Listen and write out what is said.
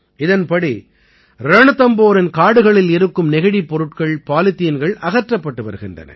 இதன்படி ரண்தம்போரின் காடுகளில் இருக்கும் நெகிழிப் பொருட்கள்பாலித்தீன்கள் அகற்றப்பட்டு வருகின்றன